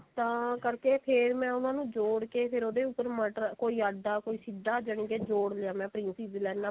ਤਾਂ ਕਰਕੇ ਫੇਰ ਮੈਂ ਉਹਨਾਂ ਨੂੰ ਜੋੜਤਾ ਫੇਰ ਉਹਦੇ ਉੱਪਰ ਮਟਰ ਕੋਈ ਆਡਾ ਕੋਈ ਸਿੱਧਾ ਜਾਨਿਕੀ ਜੋੜ ਲਿਆ ਮੈਂ princess ਲਾਈਨਾ